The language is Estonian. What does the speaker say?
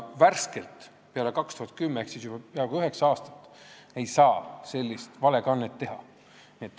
Peale aastat 2010 ehk siis peaaegu üheksa aastat ei ole enam sellist valekannet teha saanud.